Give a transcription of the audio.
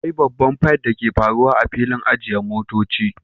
Akwai babban figth da ke faruwa a filin ajiye motoci